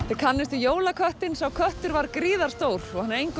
þið kannist við jólaköttinn sá köttur var gríðar stór hann er